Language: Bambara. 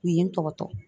U ye n tɔbɔtɔ